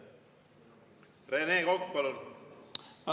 Rene Kokk, palun!